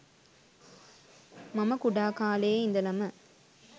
මම කුඩා කාලයේ ඉඳලම